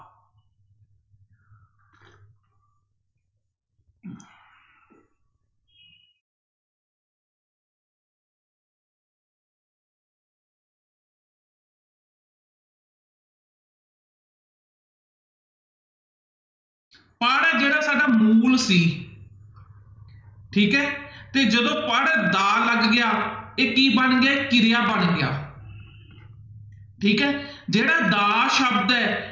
ਪੜ੍ਹ ਹੈ ਜਿਹੜਾ ਸਾਡਾ ਮੂਲ ਸੀ ਠੀਕ ਹੈ ਤੇ ਜਦੋਂ ਪੜ੍ਹਦਾ ਲੱਗ ਗਿਆ ਇਹ ਕੀ ਬਣ ਗਿਆ, ਕਿਰਿਆ ਬਣ ਗਿਆ ਠੀਕ ਹੈ ਜਿਹੜਾ ਦਾ ਸ਼ਬਦ ਹੈ